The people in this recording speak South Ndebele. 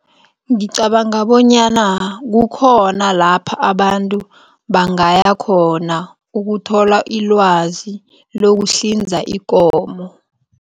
Ngicabanga bonyana kukhona lapha abantu bangaya khona ukuthola ilwazi lokuhlinza ikomo.